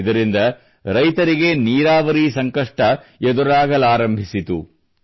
ಇದರಿಂದ ರೈತರಿಗೆ ನೀರಾವರಿ ಸಂಕಷ್ಟ ಎದುರಾಗಲಾರಂಭಿಸಿತು